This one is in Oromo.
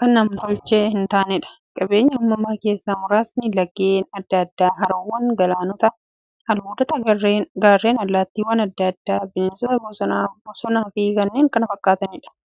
kan nam-tolchee hintaaneedha. Qabeenya uumamaa keessaa muraasni; laggeen adda addaa, haroowwan, galaanota, albuudota, gaarreen, allattiiwwan adda addaa, bineensota bosonaa, bosonafi kanneen kana fakkataniidha.